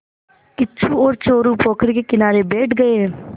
किच्चू और चोरु पोखर के किनारे बैठ गए